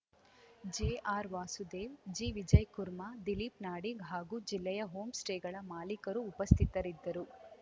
ಜೆಆರ್‌ವಾಸುದೇವ್‌ ಜಿವಿಜಯ್‌ ಕುರ್ಮಾ ದಿಲೀಪ್‌ ನಾಡಿಗ್‌ ಹಾಗೂ ಜಿಲ್ಲೆಯ ಹೋಮ್‌ ಸ್ಟೇಗಳ ಮಾಲೀಕರು ಉಪಸ್ಥಿತರಿದ್ದರು